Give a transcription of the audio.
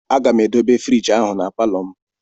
Aga m edobe frigi ahụ na palọ